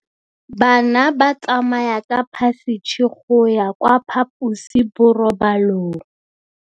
Bana ba tsamaya ka phašitshe go ya kwa phaposiborobalong.